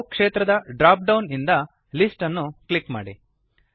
ಅಲ್ಲೋ ಕ್ಷೇತ್ರದ drop down ನಿಂದ ಲಿಸ್ಟ್ ಅನ್ನು ಕ್ಲಿಕ್ ಮಾಡಿ